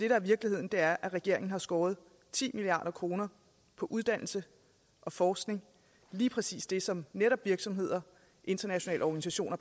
er virkeligheden er at regeringen har skåret ti milliard kroner på uddannelse og forskning lige præcis det som virksomheder og internationale organisationer